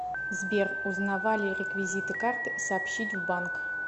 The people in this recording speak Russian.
сбер узнавали реквизиты карты сообщить в банк